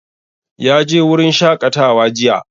Ya je wurin shaƙatawa jiya.